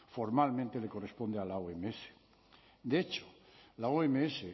formalmente le corresponde a la oms de hecho la oms